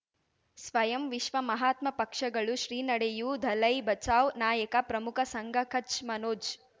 ಸ್ವಯಂ ವಿಶ್ವ ಮಹಾತ್ಮ ಪಕ್ಷಗಳು ಶ್ರೀ ನಡೆಯೂ ದಲೈ ಬಚೌ ನಾಯಕ ಪ್ರಮುಖ ಸಂಘ ಕಚ್ ಮನೋಜ್